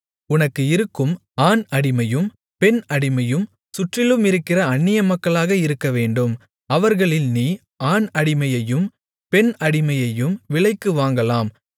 உனக்கு இருக்கும் ஆண் அடிமையும் பெண் அடிமையும் சுற்றிலும் இருக்கிற அந்நியமக்களாக இருக்கவேண்டும் அவர்களில் நீ ஆண் அடிமையையும் பெண் அடிமையையும் விலைக்கு வாங்கலாம்